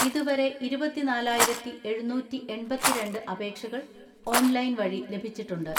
ഇതുവരെ ഇരുപത്തിനാലായിരത്തിഎഴുന്നൂറ്റിഎൺപത്തിരണ്ട് അപേക്ഷകൾ ഓൺലൈൻ വഴി ലഭിച്ചി ട്ടുണ്ട്.